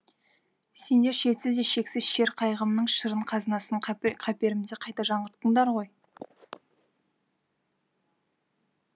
сендер шетсіз де шексіз шер қайғымның шырын қазынасын қаперімде қайта жаңғырттыңдар ғой